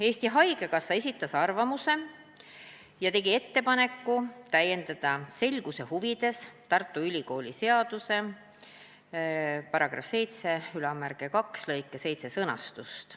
Eesti Haigekassa esitas oma arvamuse ja tegi ettepaneku selguse huvides täiendada Tartu Ülikooli seaduse § 72 lõike 7 sõnastust.